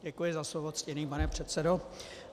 Děkuji za slovo, ctěný pane předsedo.